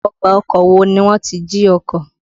Ọgbà ọkọ̀ ni wọ́n ti jí ọkọ̀.